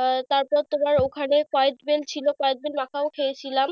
আহ তারপর তোমার ওখানে কদবেল ছিল কদবেল মাখাও খেয়েছিলাম।